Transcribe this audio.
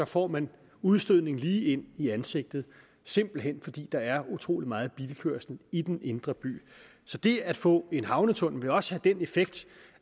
får man udstødningen lige ind i ansigtet simpelt hen fordi der er utrolig meget bilkørsel i den indre by så det at få en havnetunnel vil også den effekt